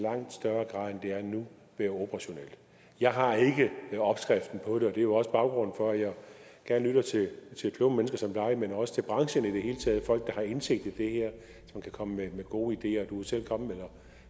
er nu være operationelt jeg har ikke opskriften på det og det er jo også baggrunden for at jeg gerne lytter til kloge mennesker som dig men også til branchen i det hele taget folk der har indsigt i det her som kan komme med gode ideer